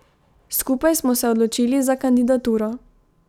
Skupaj smo se odločili za kandidaturo.